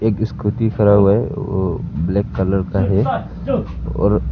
एक स्कूटी खड़ा हुआ है वो ब्लैक कलर का है और--